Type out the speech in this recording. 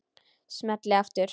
Smelli aftur.